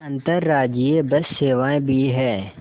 अंतर्राज्यीय बस सेवाएँ भी हैं